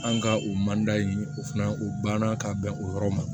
An ka o manda in o fana o banna ka bɛn o yɔrɔ ma